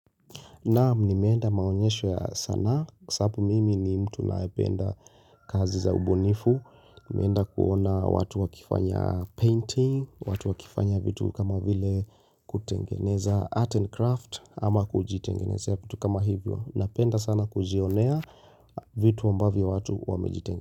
Naam nimeenda maonyesho ya sanaa sababu mimi ni mtu nayependa kazi za ubunifu nimeenda kuona watu wakifanya painting watu wakifanya vitu kama vile kutengeneza art and craft ama kujitengenezea vitu kama hivyo Napenda sana kujionea vitu ambavyo watu wamejite.